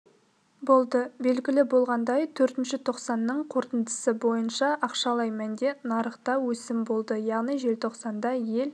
болды белгілі болғандай төртінші тоқсанның қорытындысы бойынша ақшалай мәнде нарықта өсім болды яғни желтоқсанда ел